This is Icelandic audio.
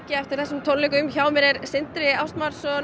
eftir þessum tónleikum hjá mér er Sindri